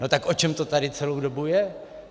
No tak o čem to tady celou dobu je?